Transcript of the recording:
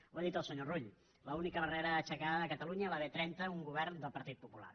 ho ha dit el senyor rull l’única barrera aixecada de catalunya la b trenta un govern del partit popular